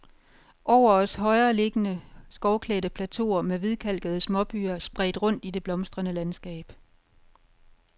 Over os højere liggende, skovklædte plateauer med hvidkalkede småbyer spredt rundt i det blomstrende landskab.